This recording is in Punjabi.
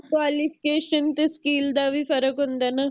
qualification ਤੇ skill ਦਾ ਵੀ ਫਰਕ ਹੁੰਦਾ ਹੈ ਨਾ